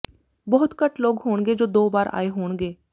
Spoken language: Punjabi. ਬਹੁਤ ਘੱਟ ਲੋਕ ਹੋਣਗੇ ਜੋ ਦੋ ਵਾਰ ਆਏ ਹੋਣਗੇ